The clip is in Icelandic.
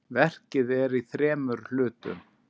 Verkið er í þremur hlutum.